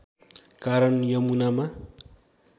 कारण यमुनामा